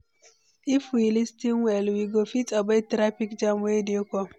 If we lis ten well, we go fit avoid traffic jam wey dey come.